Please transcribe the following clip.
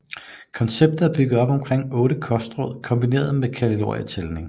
Konceptet er bygget op omkring de 8 kostråd kombineret med kalorietælning